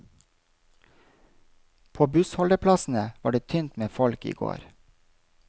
På bussholdeplassene var det tynt med folk i går.